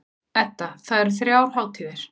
Edda: Það eru þrjár hátíðir.